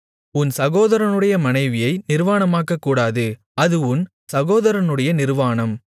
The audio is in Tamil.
உன் சகோதரனுடைய மனைவியை நிர்வாணமாக்கக்கூடாது அது உன் சகோதரனுடைய நிர்வாணம்